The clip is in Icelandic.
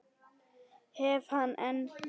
Hef hann enn.